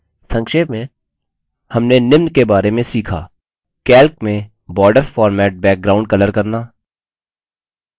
संक्षेप में हमने निम्न बारे में सीखा